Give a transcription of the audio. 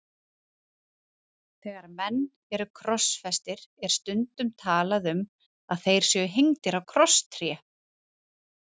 Þegar menn eru krossfestir er stundum talað um að þeir séu hengdir á krosstré.